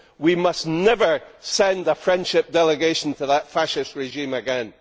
We must never send a friendship delegation to that fascist regime again.